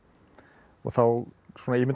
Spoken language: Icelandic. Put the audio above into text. og þá svona ímynda